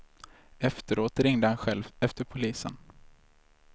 Efteråt ringde han själv efter polisen.